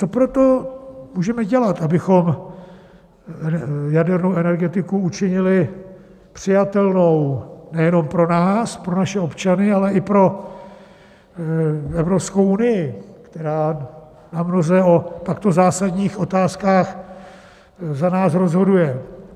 Co pro to můžeme dělat, abychom jadernou energetiku učinili přijatelnou nejenom pro nás, pro naše občany, ale i pro Evropskou unii, která namnoze o takto zásadních otázkách za nás rozhoduje?